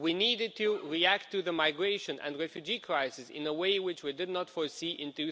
We needed to react to the migration and refugee crisis in a way which we did not foresee in